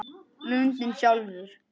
Lundinn sjálfur